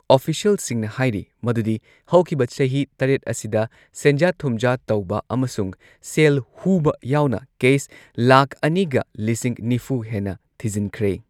ꯑꯣꯐꯤꯁ꯭ꯌꯦꯜꯁꯤꯡꯅ ꯍꯥꯢꯔꯤ ꯃꯗꯨꯗꯤ ꯍꯧꯈꯤꯕ ꯆꯍꯤ ꯇꯔꯦꯠ ꯑꯁꯤꯗ ꯁꯦꯟꯖꯥ ꯊꯨꯝꯖꯥ ꯇꯧꯕ ꯑꯃꯁꯨꯡ ꯁꯦꯜ ꯍꯨꯕ ꯌꯥꯎꯅ ꯀꯦꯁ ꯂꯥꯈ ꯑꯅꯤꯒ ꯂꯤꯁꯤꯡ ꯅꯤꯐꯨ ꯍꯦꯟꯅ ꯊꯤꯖꯤꯟꯈ꯭ꯔꯦ꯫